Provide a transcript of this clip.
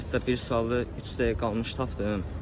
Hətta bir sualı üç dəqiqə qalmış tapdım.